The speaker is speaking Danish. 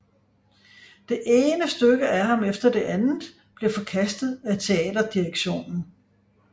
Det ene stykke af ham efter det andet blev forkastet af theaterdirektionen